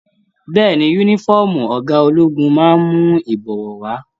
Bẹ́ẹ̀ni, yúnífọ̀ọ́mù ọgá ológun máa n mú ibọwọ wa.